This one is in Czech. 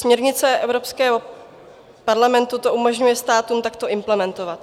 Směrnice Evropského parlamentu to umožňuje státům takto implementovat.